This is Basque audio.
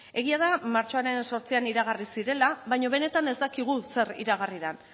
egia da martxoaren zortzian iragarri zirela baino benetan ez dakigu zer eragarri den